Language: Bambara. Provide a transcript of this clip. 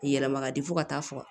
Yɛlɛma di fo ka taa fɔ